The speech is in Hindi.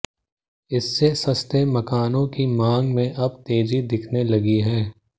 इससे सस्ते मकानों की मांग में अब तेजी दिखने लगी है